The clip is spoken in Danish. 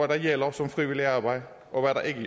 der gælder som frivilligt arbejde og hvad der ikke